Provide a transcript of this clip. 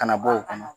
Kana bɔ o kɔnɔ